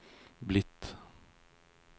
blitt